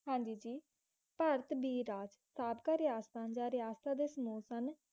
ਹਾਂਜੀ ਜੀ ਭਾਰਤ ਦੀ ਰਾਜ ਸਦਕਾ ਰਿਆਸਤਾਂ ਦਾ ਰਿਹਾਸਦ ਸਮੂਹ ਸਨ